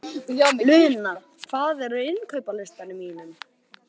Luna, hvað er á innkaupalistanum mínum?